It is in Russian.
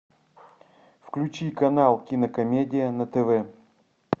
включи канал кинокомедия на тв